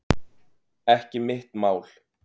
Ekki mitt mál